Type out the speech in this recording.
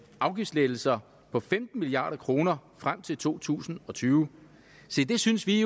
afgiftslettelser på femten milliard kroner frem til to tusind og tyve se det synes vi